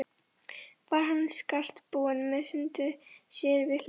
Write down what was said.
Var hann skartbúinn með hund sér við hlið.